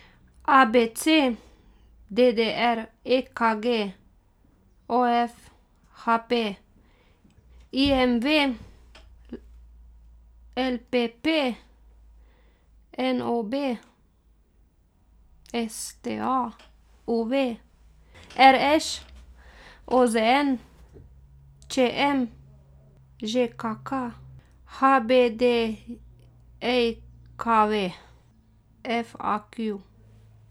A B C; D D R; E K G; O F; H P; I M V; L L P P; N O B; S T A; U V; R Š; O Z N; Č M; Ž K K; H B D J K V; F A Q.